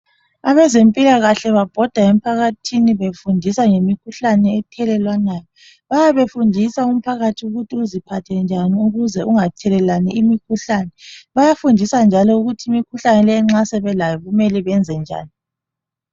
Abezempilakahle babhoda emphakathini befundisa ngemikhuhlane ethelelwanayo bayabe befundisa umphakathi ukuthi uziphathe njani ukuze umphakathi ungathelelani umkhuhlane bayafundisa njalo ukuthi imikhuhlane nxa sebelelayo ukuthi mele benze njani